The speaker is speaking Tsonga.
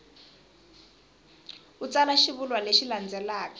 u tsala xivulwa lexi landzelaka